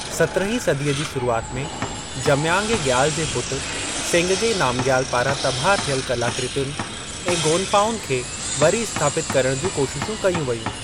सत्रहीं सदीअ जी शुरुआत में, जम्यांग ऐं ग्याल जे पुट सेंगगे नामग्याल पारां तबाह थियल कलाकृतियुनि ऐं गोनपाउनि खे वरी स्थापित करण जूं कोशिशूं कयूं वयूं।